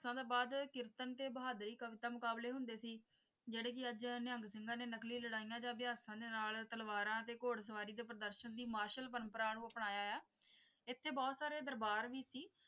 ਤੋਂ ਬਾਅਦ ਕੀਰਤਨ ਤੇ ਬਹਾਦੁਰੀ ਕਵਿਤਾ ਮੁਕਾਬਲੇ ਹੁੰਦੇ ਸੀ ਜਿਹੜੇ ਕਿ ਅੱਜ ਨਿਹੰਗ ਸਿੰਘਾਂ ਨੇ ਨਕਲੀ ਲੜਾਈਆਂ ਜਾ ਅਭਿਅਸਾਂ ਦੇ ਨਾਲ ਤਲਵਾਰਾਂ ਤੇ ਘੁੜਸਵਾਰੀ ਦੇ ਪ੍ਰਦਰਸ਼ਨ ਦੀ ਮਾਰਸ਼ਲ ਪ੍ਰੰਪਰਾ ਨੂੰ ਅਪਣਾਇਆ ਹੈ ਇੱਥੇ ਬਹੁਤ ਸਾਰੇ ਦਰਬਾਰ ਵੀ ਸੀ।